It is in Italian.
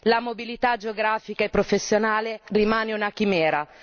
La mobilità geografica e professionale rimane una chimera.